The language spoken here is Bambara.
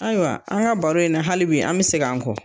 Ayiwa an ga baro in na halibi an be segi an kɔ